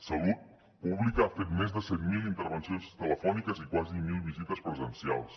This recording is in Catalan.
salut pública ha fet més de set mil intervencions telefòniques i quasi mil visites presencials